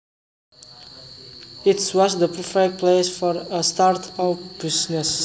It was the perfect place for a start up business